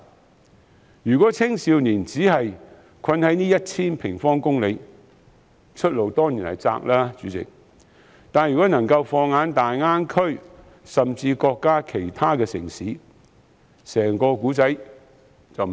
代理主席，如青少年只困守在這 1,000 平方公里之內，出路當然狹窄，但如能放眼大灣區甚至內地其他城市，整個故事便完全不同。